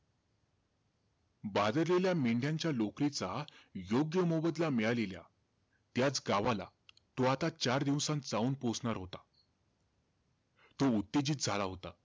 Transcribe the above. भादरलेल्या मेंढ्यांच्या लोकरीचा योग्य मोबदला मिळालेल्या, त्याचं गावाला आता चार दिवसात जाऊन पोचणार होता. तो उत्तेजित झाला होता.